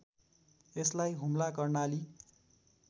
यसलाई हुम्ला कर्णाली